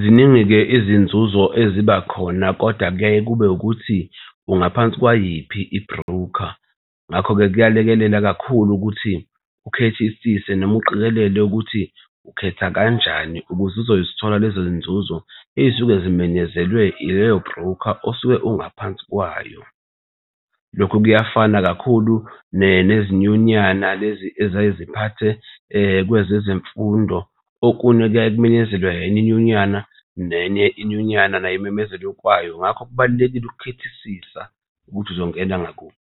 Ziningi-ke izinzuzo eziba khona kodwa kuyaye kube ukuthi ungaphansi kwayiphi i-broker, ngakho-ke kuyalekelela kakhulu ukuthi ukhethisise noma uqikelele ukuthi ukhetha kanjani ukuze uzozithola lezo nzuzo ey'suke zimenyezelwe ileyo broker osuke ungaphansi kwayo. Lokhu kuyafana kakhulu nezinyunyana lezi eziyaye ziphathe kwezezemfundo. Okunye kuyaye kumenyezelwe enye inyunyana nenye inyunyana nayo imemezele okwayo. Ngakho kubalulekile ukukhethisisa ukuthi uzongena ngakuphi.